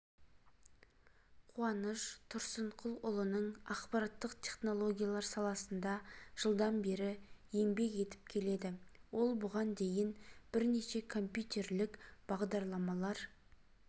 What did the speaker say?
қуаныш тұрсынқұлұлының ақпараттық технологиялар саласында жылдан бері еңбек етіп келеді ол бұған дейін бірнеше компьютерлік бағдарламалар